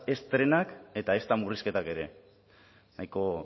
ez trenak eta ezta murrizketak ere nahiko